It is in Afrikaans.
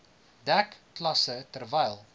dek klasse terwyl